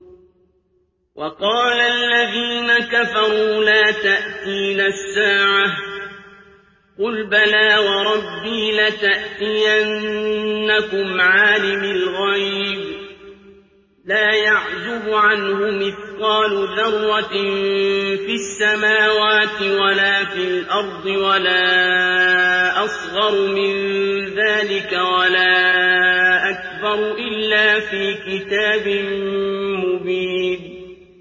وَقَالَ الَّذِينَ كَفَرُوا لَا تَأْتِينَا السَّاعَةُ ۖ قُلْ بَلَىٰ وَرَبِّي لَتَأْتِيَنَّكُمْ عَالِمِ الْغَيْبِ ۖ لَا يَعْزُبُ عَنْهُ مِثْقَالُ ذَرَّةٍ فِي السَّمَاوَاتِ وَلَا فِي الْأَرْضِ وَلَا أَصْغَرُ مِن ذَٰلِكَ وَلَا أَكْبَرُ إِلَّا فِي كِتَابٍ مُّبِينٍ